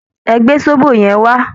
Ẹ gbé sóbò yẹn wá!